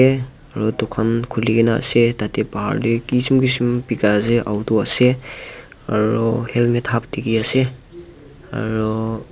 aru dukan khule kina ase tarte bahar te kisem kisem beka ase auto ase aro helmet half dekhi ase aru--